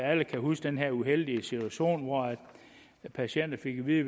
alle kan huske den her uheldige situation hvor patienter fik at vide